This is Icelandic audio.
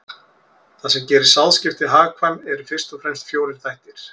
Það sem gerir sáðskipti hagkvæm eru fyrst og fremst fjórir þættir.